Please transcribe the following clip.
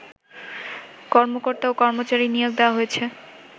কর্মকর্তা ও কর্মচারী নিয়োগ দেওয়া হয়েছে